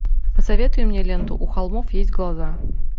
посоветуй мне ленту у холмов есть глаза